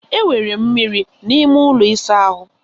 Enwere mmiri n'ime ụlọ ịsa ahụ?